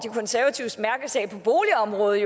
konservatives mærkesag på boligområdet